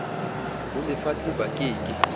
ho lefatshe ba ke ke